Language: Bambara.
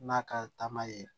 N'a ka taama ye